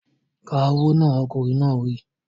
Ka owó náà! Ọkùnrin náà wí.